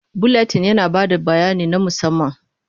Buletin yana ba da bayani na musamman.